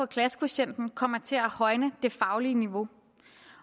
klassekvotienten kommer til at højne det faglige niveau